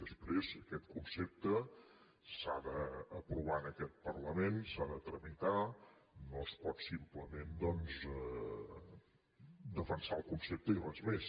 després aquest concepte s’ha d’aprovar en aquest parlament s’ha de tramitar no es pot simplement doncs defensar el concepte i res més